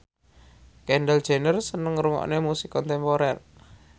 Kendall Jenner seneng ngrungokne musik kontemporer